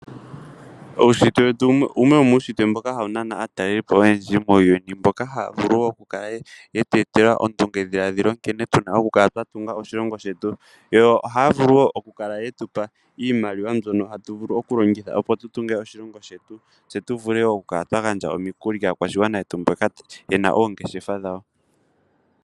Uushitwe wete owo wumwe mboka ha wu nana aatalelipo muuyuni, mboka haya vulu oku tu etela ondunge dhiladhilo nkene tu na oku kala twa tunga oshilongo shetu, yo ohaya vulu oku kala ye tupa iimaliwa mbyoka ta tu vulu oku longitha opo tu tunge oshilongo shetu, tse tu vule oku gandja omukuli kaakwashigwana yetu mboka yena oongeshefa dhawo.